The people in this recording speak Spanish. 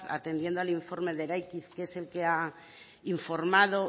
atendiendo al informe de eraikiz que es el que ha informado